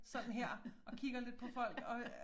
Sådan her og kigger lidt på folk og øh